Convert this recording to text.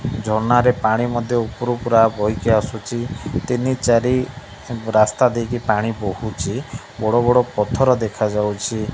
ଝରଣା ରେ ପାଣି ମଧ୍ୟ ଉପରୁ ପୁରା ବହିକି ଆସୁଛି ତିନି ଚାରି ରାସ୍ତା ଦେଇକି ପାଣି ବହୁଚି ବଡ଼ ବଡ଼ ପଥର ଦେଖା ଯାଉଛି।